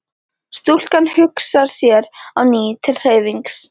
Stúlkan hugsar sér á ný til hreyfings.